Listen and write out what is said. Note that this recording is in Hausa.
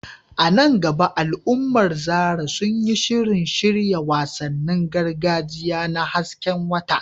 A nan gaba al’ummar Zarah sun yi shirin shirya wasannin gargajiya na hasken wata.